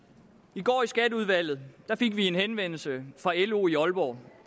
i går i skatteudvalget fik vi en henvendelse fra lo i aalborg